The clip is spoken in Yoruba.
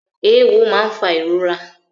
Ewọ máa ń fà ìrora